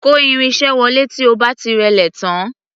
Kò irin-iṣẹ́ wọlé tí o bá ti rẹ́lé tán.